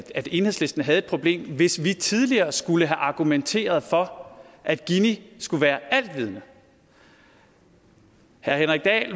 enhedslisten havde et problem hvis vi tidligere skulle have argumenteret for at gini skulle være alvidende herre henrik dahl